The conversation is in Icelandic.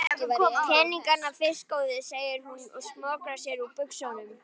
Peningana fyrst góði, segir hún og smokrar sér úr buxunum.